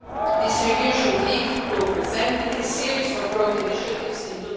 This review should lead to presenting a series of road initiatives in